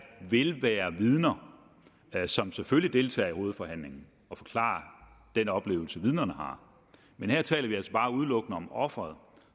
vil være vidner som selvfølgelig deltager i hovedforhandlingen og forklarer den oplevelse vidnerne har her taler vi altså bare udelukkende om offeret